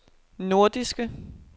nordiske